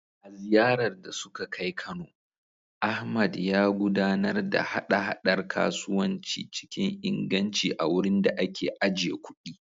A ziyarar da suka kai Kano, Ahmad, ya gudanar da haɗa-haɗar kasuwanci cikin inganci a wurin da ake ajiye kuɗi.